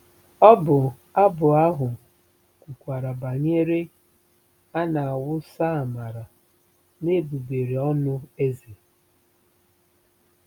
Ọbụ abụ ahụ kwukwara banyere ‘a na-awụsa amara n’egbugbere ọnụ eze. '